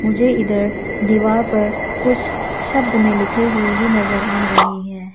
मुझे इधर दीवार पर कुछ शब्द में लिखे हुए भी नजर आ रही है।